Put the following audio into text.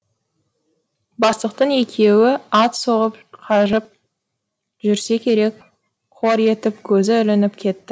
бастықтың екеуі ат соғып қажып жүрсе керек қор етіп көзі ілініп кетті